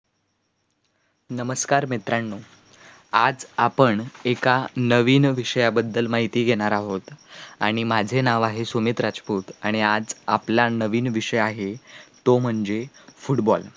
नमस्कार मित्राणो, आज आपन एका नविन विषयांबद्दल माहिती घेणार आहोत आणि माझे नाव आहे सुमित राजपूत आणि आज आपला नवीन विषय आहे तो म्हणजे football